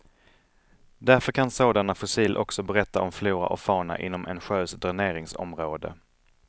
Därför kan sådana fossil också berätta om flora och fauna inom en sjös dräneringsområde.